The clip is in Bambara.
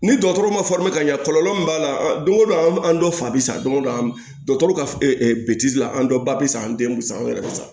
Ni dɔgɔtɔrɔ ma ka ɲɛ kɔlɔlɔ min b'a la don o don an dɔ fa bɛ san don o don an dɔgɔtɔrɔ ka bi la an bɛɛ ba bi sa an den bi sa anw yɛrɛ bi sa